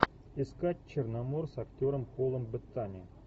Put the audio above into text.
искать черномор с актером полом беттани